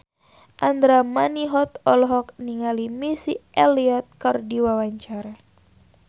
Andra Manihot olohok ningali Missy Elliott keur diwawancara